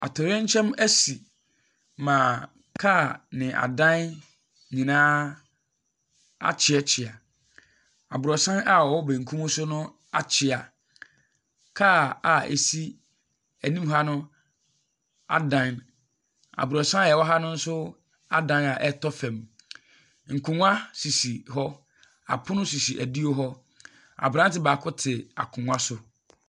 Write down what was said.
Atɔyerɛnkyɛm asi ma kaa ne adan nyinaa akyeakyea. Abrɔsan a ɔwɔ bankum so no akyea. Kaa a ɛsi anim ha no adan. Abrɔsan a ɛwɔ ha no nso adan a ɛretɔ fam. Nkongua sisi hɔ, apono sisi anim hɔ. Aberante baako te akongua so.